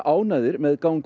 ánægðir með ganga